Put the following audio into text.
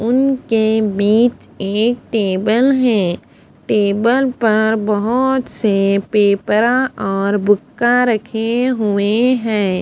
उनके बिच एक टेबल है टेबल बहोत सारे पेपरा और बुका रखे हुए है।